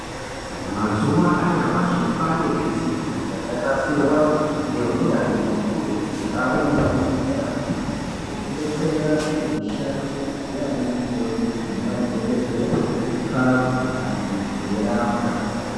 Mazuva anyamashi kwaane zvisimbi zvakanasirwa ngeunyanzvi hukurutu zvaamwo muzvibhedhleramwo. Zvekudetsera kuti mishando yaana mukoti nemadhogodheya ipfave, vantu veirapwa